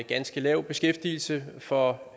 ganske lav beskæftigelse for